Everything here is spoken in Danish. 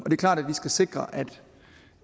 er klart at vi skal sikre